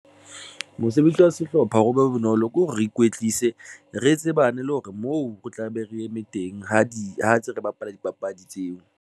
Mosebetsi wa sehlopha o be bonolo ke hore re ikwetlise, re tsebane, le hore moo re tlabe re eme teng ha di ha ntse re bapala dipapadi tseo.